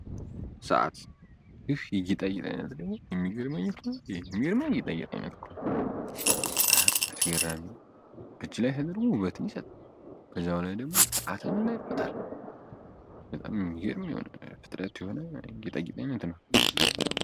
ሰዓት ይህ የእጅ ጌጥ አይነት ነው በጣም የሚያስገርመኝ ነው እጅ ላይ ተደርጎ ውበት የሚሰጥ ፍጥረት ነው በኋላ ደሞ ሰዓትን እና ቦታን የሚናገር።